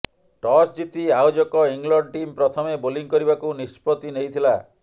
toss ଜିତି ଆୟୋଜକ England team ପ୍ରଥମେ ବୋଲିଂ କରିବାକୁ ନିଷ୍ପତ୍ତି ନେଇଥିଲା